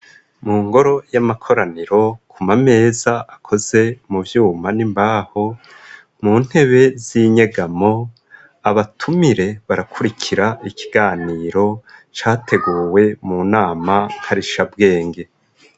mu ngoro y'amakoraniro kumameza akoze mu vyuma n'imbaho mu ntebe z'inyegamo abatumire barakurikira ikiganiro categuwe mu nama karishabwenge